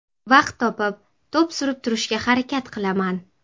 Vaqt topib, to‘p surib turishga harakat qilaman.